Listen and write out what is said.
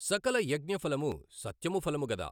సకల యజ్ఞఫలము సత్యము ఫలముగదా।